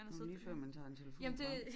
Nu er det lige før han tager en telefon frem